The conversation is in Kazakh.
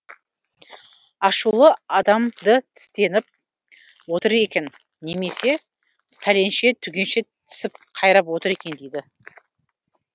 ашулы адамды тістеніп отыр екен немесе пәленше түгенше тісіп қайрап отыр екен дейді